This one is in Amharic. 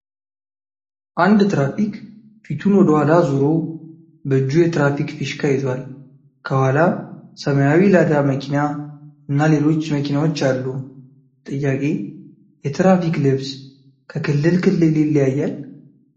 አንድ ትሬፊክ ፊቱን ወደ ኋላ አዙሮ በእጁ የትራፊክ ፊሽካ ይዟል ፤ ከኋላ ሰማያዊ ላዳ መኪና እና ሌሎች መኪናዎች አሉ ፤ ጥያቄ :- የትራፊክ ልብስ ከክልል ክልል ይለያያል?